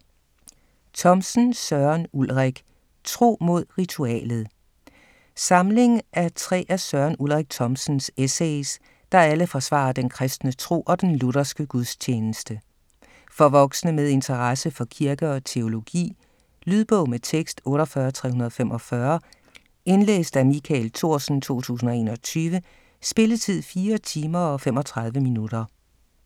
Thomsen, Søren Ulrik: Tro mod ritualet Samling af tre af Søren Ulrik Thomsens essays, der alle forsvarer den kristne tro og den lutherske gudstjeneste. For voksne med interesse for kirke og teologi. Lydbog med tekst 48345 Indlæst af Michael Thorsen, 2021. Spilletid: 4 timer, 35 minutter.